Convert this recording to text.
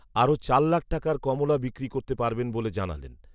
আরো চার লাখ টাকার কমলা বিক্রি করতে পারবেন বলে জানালেন